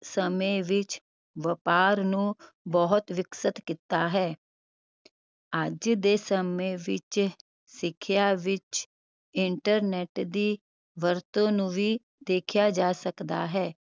ਸਮੇ ਵਿਚ ਵਪਾਰ ਨੂੰ ਬਹੁਤ ਵਿਕਸਿਤ ਕਿੱਤਾ ਹੈ ਅੱਜ ਦੇ ਸਮੇ ਵਿਚ ਸਿਖਿਆ ਵਿਚ internet ਦੀ ਵਰਤੋਂ ਨੂੰ ਵੀ ਦੇਖਿਆ ਜਾ ਸਕਦਾ ਹੈ